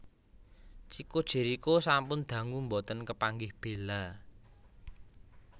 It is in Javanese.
Chicco Jerikho sampun dangu mboten kepanggih Bella